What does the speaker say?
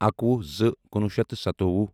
اکوُہ زٕ کنُوہُ شیتھ تہٕ سَتووُہ